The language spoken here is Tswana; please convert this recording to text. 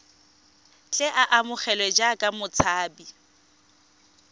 tle a amogelwe jaaka motshabi